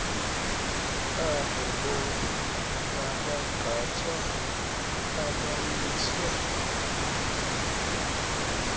abobonke abagqatswa abamiswe